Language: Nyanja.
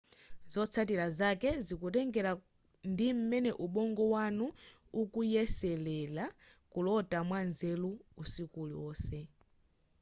zotsatira zake zikutengera ndi m'mene ubongo wanu ukuyeselere kulota mwanzeru usiku uliwonse